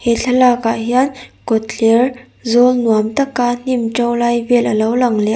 he thlalakah hian kawtthler zawl nuam tak a hnim to lai vel a lo lang leh a.